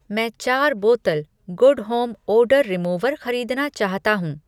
मैं चार बोतल गुड होम ओडर रिमूवर खरीदना चाहता हूँ।